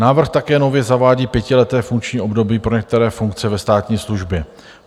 Návrh také nově zavádí pětileté funkční období pro některé funkce ve státní službě.